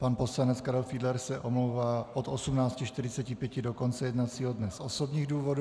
Pan poslanec Karel Fiedler se omlouvá od 18.45 do konce jednacího dne z osobních důvodů.